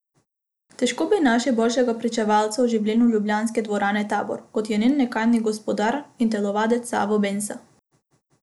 Težko bi našli boljšega pričevalca o življenju ljubljanske dvorane Tabor, kot je njen nekdanji gospodar in telovadec Savo Bensa.